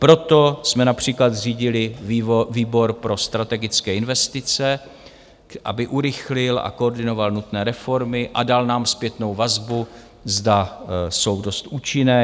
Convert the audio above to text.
Proto jsme například zřídili výbor pro strategické investice, aby urychlil a koordinoval nutné reformy a dal nám zpětnou vazbu, zda jsou dost účinné.